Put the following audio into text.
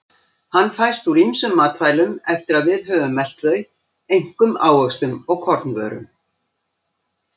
Hann fæst úr ýmsum matvælum eftir að við höfum melt þau, einkum ávöxtum og kornvörum.